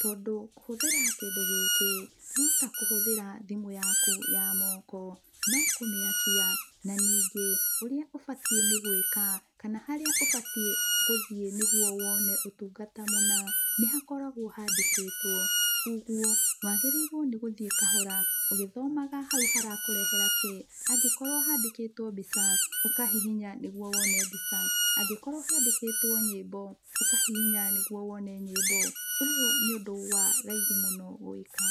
tondũ kũhũthĩra kĩndũ gĩkĩ, no takũhũthĩra thimũ yaku ya moko. No kũmĩakia, na ningĩ, ũrĩa ũbatiĩ nĩ gwĩka, kana harĩa ũbatiĩ gũthiĩ nĩguo wone ũtungata mũna, nĩ hakoragwo handĩkĩtwo. Koguo, wagĩrĩirwo nĩ gũthiĩ kahora, ũgĩthomaga hau harakũrehera kĩ. Angĩkorwo handĩkĩtwo mbica, ũkahihinya nĩguo wone mbica, angĩkorwo handĩkĩtwo nyĩmbo, ũkahihinya nĩguo wone nyĩmbo. Ũyũ nĩ ũndũ wa raithi mũno gwĩka.